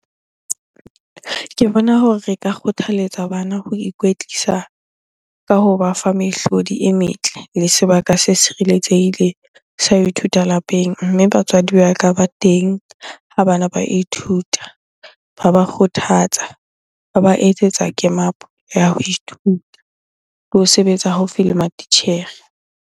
Ke bona hore re ka kgothaletsa bana ho ikwetlisa ka hoba fa mehlodi e metle le sebaka se tshireletsehileng sa ho ithuta lapeng. Mme batswadi ba ka ba teng ha bana ba ithuta, ba ba kgothatsa, ba ba etsetsa ya ho ithuta le ho sebetsa haufi le matitjhere.